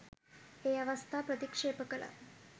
ඒ අවස්ථා ප්‍රතික්ෂේප කළා.